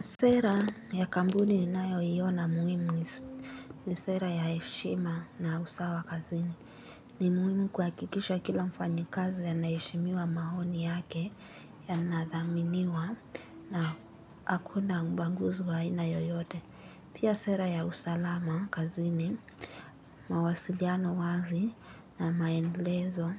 Sera ya kampuni ninayoiona muhimu ni sera ya heshima na usawa kazini. Ni muhimu kuhakikisha kila mfanyikazi anaheshimiwa maoni yake yanathaminiwa na hakuna ubaguzi wa aina yoyote. Pia sera ya usalama kazini, mawasiliano wazi na maendelezo